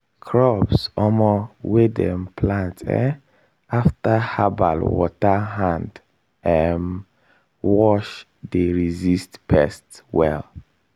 crops um wey dem plant um after herbal water hand um wash dey resist pests well.